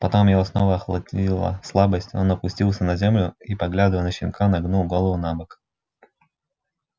потом его снова охватила слабость он опустился на землю и поглядывая на щенка нагнул голову набок